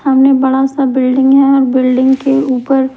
सामने बड़ा सा बिल्डिंग है ओर बिल्डिंग के ऊपर--